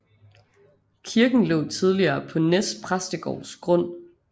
Kirken lå tidligere på Nes præstegårds grund